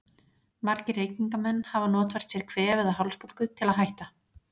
Margir reykingamenn hafa notfært sér kvef eða hálsbólgu til að hætta.